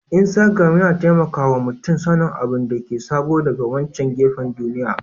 Iastagram yana taimaka wa mutum sanin abin da ke sabo daga wancan gefen duniya